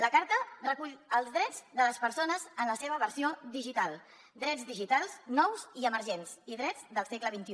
la carta recull els drets de les persones en la seva versió digital drets digitals nous i emergents i drets del segle xxi